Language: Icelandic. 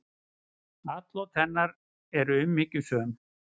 Atlot hennar eru umhyggjusöm.